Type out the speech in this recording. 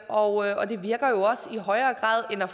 og det virker jo også i højere grad end at